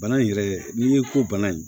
Bana in yɛrɛ n'i ko bana in